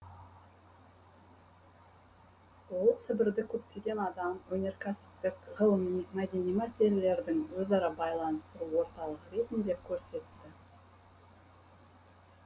ол сібірді көптеген адам өнеркәсіптік ғылыми мәдени мәселелердің өзара байланыстыру орталығы ретінде көрсетті